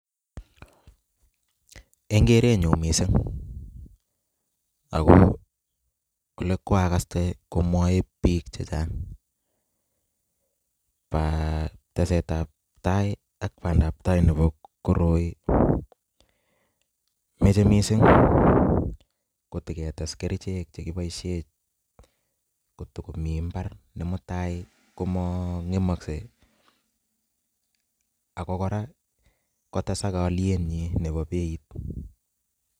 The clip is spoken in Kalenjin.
Eng' gerenyun missing, ago oli kwagaste komwoe biik chechang ba tesetabtai ak bandabtai nebo koroi, mache missing kotaketes kerichek chekiboisie kotakomi mbar ne mutai komang'emokse ago kora kotesak olien nyi nebo beit.